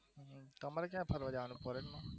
તમારે ક્યાં ફરવા જવાની ઈચ્છા છે?